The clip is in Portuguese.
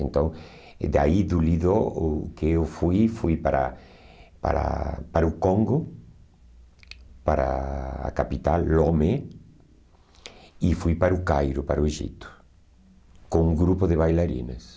Então, é daí do Lido, o que eu fui, fui para para para o Congo, para a capital, Lomé, e fui para o Cairo, para o Egito, com um grupo de bailarinas.